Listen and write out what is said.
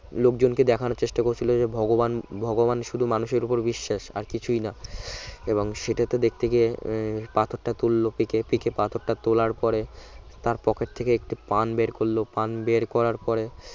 লোকজনকে দেখানোর চেষ্টা করছিল যে ভগবান ভগবান শুধু মানুষের উপর বিশ্বাস আর কিছুই না এবং সেটা তো দেখতে গিয়ে পাথরটা তুলল পিকে এবং পিকে পাথরটা তোলার পরে তার পকেট থেকে একটি পান বের করল পান বের করার পরে